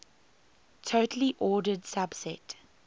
totally ordered subset